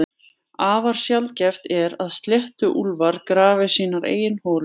Afar sjaldgæft er að sléttuúlfar grafi sínar eigin holur.